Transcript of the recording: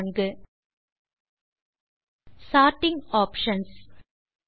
step 4 sorting options